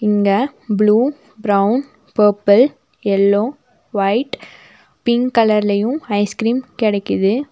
இங்க blue brown purple yellow white pink கலர்ல ice cream கெடைக்குது.